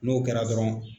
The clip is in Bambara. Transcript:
N'o kɛra dɔrɔn